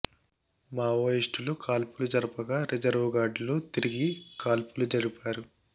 మావోయిస్టులు కాల్పులు జరుపగా రిజర్వు గార్డులు తిరిగి కాల్పులు జరిపారు